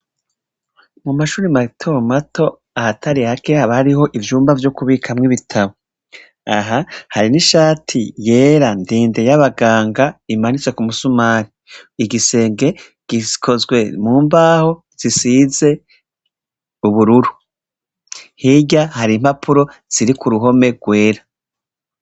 Mumashure matomato ahatari hake haba hariho ivyumba vyo kubikamw'ibitabo aha hari n'ishati yera ndende y'abaganga imanitse k'umusumari. Igisenge gikozwe mumbaho zisize ubururu. Hirya har'impapuro ziri k'uruhome rwera.